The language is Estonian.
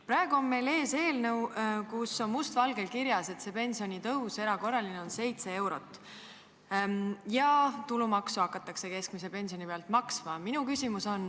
Praegu on meil ees eelnõu, kus on must valgel kirjas, et erakorraline pensionitõus on 7 eurot ja keskmise pensioni pealt hakatakse tulumaksu maksma.